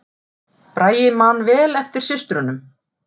Bragi man vel eftir systrunum